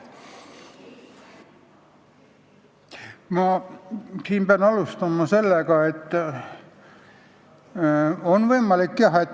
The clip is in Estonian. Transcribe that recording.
Ma pean alustama sellest, et see on võimalik, jah.